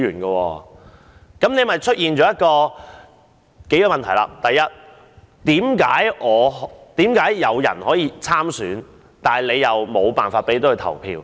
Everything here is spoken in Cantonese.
這樣引申出多個問題：第一，為何有人可以參選，卻沒有投票權？